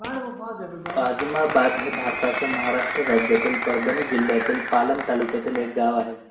आजमाबाद हे भारताच्या महाराष्ट्र राज्यातील परभणी जिल्ह्यातील पालम तालुक्यातील एक गाव आहे